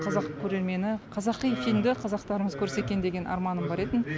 қазақ көрермені қазақи фильмді қазақтарымыз көрсе екен деген арманым бар еді